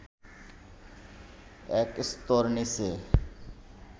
এক স্তর নিচে